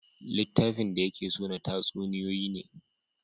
Littafin da ya ke so na tatsuniyoyi ne